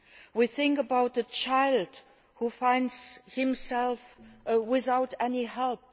we think about the child who finds himself without any help